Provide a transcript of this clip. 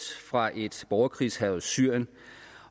fra et borgerkrigshærget syrien